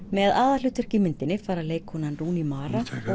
með aðalhlutverk í myndinni fara leikkonan Rooney mara og